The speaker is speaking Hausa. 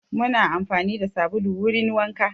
Muna amfani da sabulu wurin wanka